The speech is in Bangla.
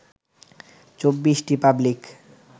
২৪টি পাবলিক